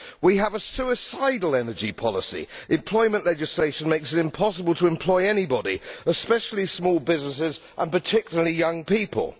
We have a suicidal energy policy. Employment legislation makes it impossible to employ anybody, especially small businesses and particularly young people.